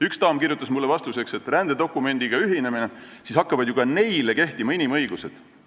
Üks daam kirjutas mulle vastuseks, et kui rändedokumendiga ühineda, siis hakkavad ju ka neile kehtima inimõigused.